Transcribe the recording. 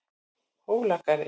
Hólagarði